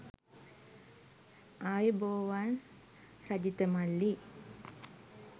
ආයුබෝවන් රජිත මල්ලි